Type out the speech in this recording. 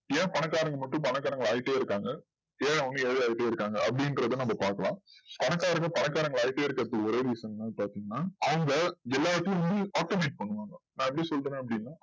ஏன் பணக்காரங்க மட்டும் பணக்காரங்க ஆயிட்டே இருக்காங்க ஏல அவங்க ஏல ஆயடே இருக்காங்க அப்டின்றத நம்ம பாக்கலாம் பணக்காரங்க பணக்காரங்களா ஆயிட்டே இருக்க ஒரே reason என்னனு பாத்திங்கனா அவங்க எல்லாத்துக்கும் minimum actimate பண்ணுவாங்க அதபத்தி சொல்லனும்னா